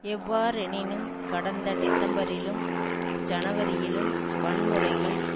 எவ்வாறெனினும் கடந்த டிசம்பரிலும் ஜனவரியிலும் வன்முறைகள்